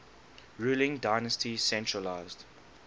ruling dynasty centralised